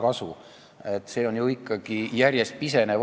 Ja see osa eelarves ju järjest piseneb.